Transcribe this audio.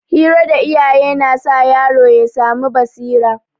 Hira da iyaye na sa yaro ya samu basira.